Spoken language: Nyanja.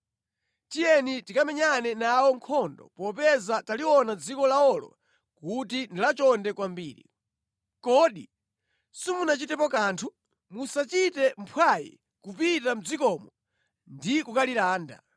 “Tiyeni tikamenyane nawo nkhondo popeza taliona dziko lawolo kuti ndi lachonde kwambiri. Kodi simuchitapo kanthu? Musachite mphwayi kupita mʼdzikomo ndi kukalilanda.